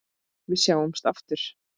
Við sjáumst aftur.